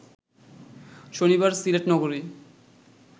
শনিবার সিলেট নগরী